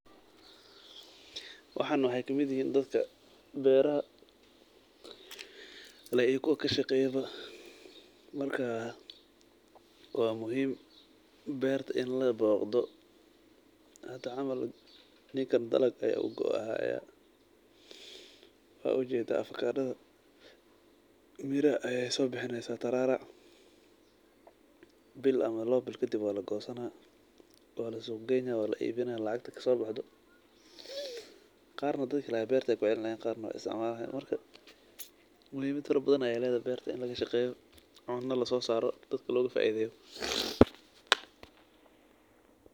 Waxan waxay kamid eheen dadka beraha kashageyo ama leeh. Marka waa muhim berta in la boqdo hata camal ninka balagde oo qoayo waa ujeda avocado datha miir ay soo bixinaysa tararac biil ama lawa biil kadib waa lagosana waa lasogoyna waa laa ibina lacqat kasobaxdo qaar dadkilaha berta ay kucilinayan qaar na way isticmalayan marka muhimit farabadhan ay laydhay berta in laqashaqeyo cuno lasosaro dadka laoqufaidheyo.